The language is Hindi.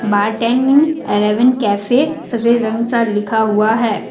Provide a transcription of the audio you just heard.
बार टेन इलेवन कैफे सफेद रंग सा लिखा हुआ है।